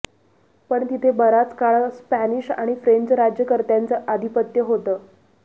पण तिथे बराच काळ स्पॅनिश आणि फ्रेंच राज्यकर्त्यांचं आधिपत्य होतं